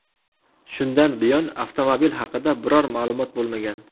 Shundan buyon avtomobil haqida biror ma’lumot bo‘lmagan.